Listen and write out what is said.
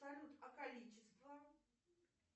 салют а количество